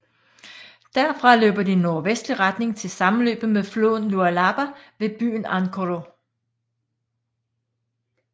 Derfra løber den i nordvestlig retning til sammenløbet med floden Lualaba ved byen Ankoro